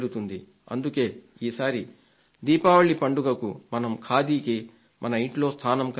అందుకే ఈసారి దీపావళి పండుగకు మనం ఖాదీకి మన ఇంట్లో స్థానం కల్పిద్దాం